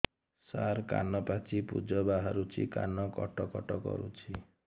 ସାର କାନ ପାଚି ପୂଜ ବାହାରୁଛି କାନ କଟ କଟ କରୁଛି